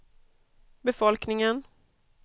befolkningen